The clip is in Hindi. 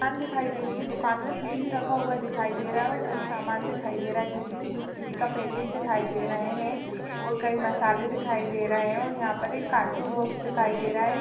दुकान दिखाई दे रही है दुकान में फ्रिज रखा हुआ दिखाई दे रहा है और कई सामान दिखाई दे रहा है जैसे बिस्कुट का पैकेट दिखाई दे रहे हैं और कई मसाले दिखाई दे रहे हैं और कार्टून बॉक्स दिखाई दे रहा है।